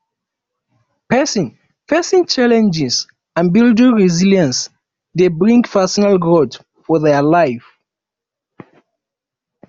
facing facing challenges and building resilence de bring personal growth for their life